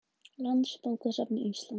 Landsbókasafn Íslands.